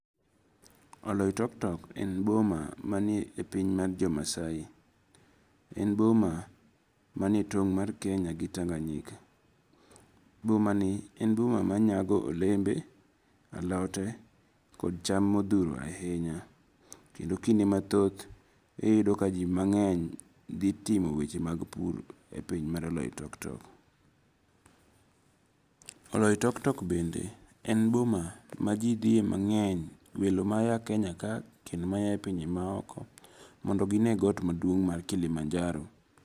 Oloitoktok en boma manie e piny ma jomasai, en boma manie tong' mar Kenya gi Tanganyika, bomani en boma ma nyago olembe, alote kog cham mothuro ahinya , kendo kinde mathoth iyudo ka ji mange'ny thi timo weche mag puro e piny mar Oloitoktok. Oloitoktok bende en boma ma ji dhie mange'ny welo maye Kenya kae kendo mayae pinje maoko mondo gi ne got maduong' mar Kilimanjaro.